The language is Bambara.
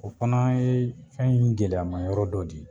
O fana ye fɛn in gɛlɛyamayɔrɔ dɔ de ye.